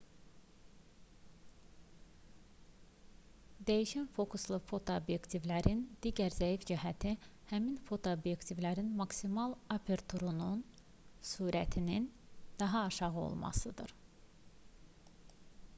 dəyişən fokuslu fotoobyektivlərin digər zəif cəhəti həmin fotoobyektivlərin maksimal aperturunun sürətinin adətən daha aşağı olmasıdır